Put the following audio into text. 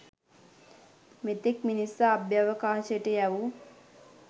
මෙතෙක් මිනිසා අභ්‍යාවකාශයට යැවූ